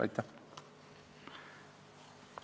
Aitäh!